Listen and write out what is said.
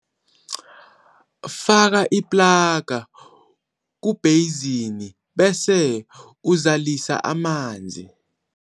Faka iplaga kubheyizini bese uzalisa amanzi.